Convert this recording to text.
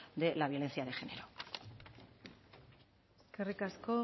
de la violencia de género eskerrik asko